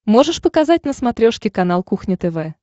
можешь показать на смотрешке канал кухня тв